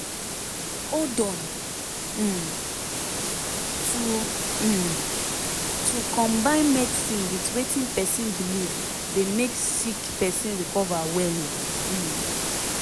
hold on - um to um to combine medicine with wetin pesin belief dey make sick pesin recover well um